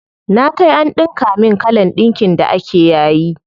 Na kai an ɗinka min kalan ɗinkin da ake yayi.